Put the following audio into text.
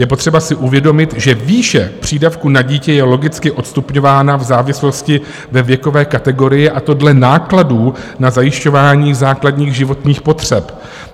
Je potřeba si uvědomit, že výše přídavku na dítě je logicky odstupňována v závislosti na věkové kategorii, a to dle nákladů na zajišťování základních životních potřeb.